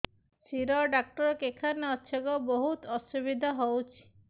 ଶିର ଡାକ୍ତର କେଖାନେ ଅଛେ ଗୋ ବହୁତ୍ ଅସୁବିଧା ହଉଚି